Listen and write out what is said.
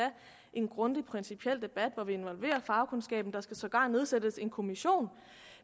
en grundig principiel debat hvor vi involverer fagkundskaben der skal sågar nedsættes en kommission